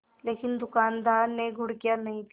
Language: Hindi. लेकिन दुकानदार ने घुड़कियाँ नहीं दीं